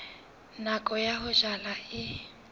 nako ya ho jala e